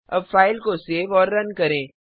अब फ़ाइल को सेव और रन करें